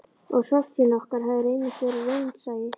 Og svartsýni okkar hafði reynst vera raunsæi.